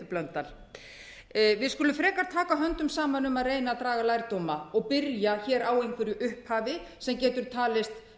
h blöndal við skulum frekar taka höndum saman um að reyna að draga lærdóma og byrja á einhverju upphafi sem getur talist